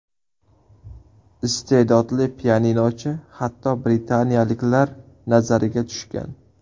Iste’dodli pianinochi hatto britaniyaliklar nazariga tushgan.